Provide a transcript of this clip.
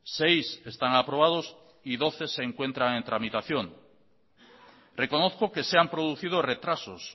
seis están aprobados y doce se encuentran en tramitación reconozco que se han producido retrasos